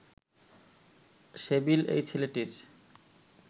civil এই ছেলেটির